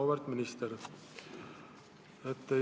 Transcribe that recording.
Auväärt minister!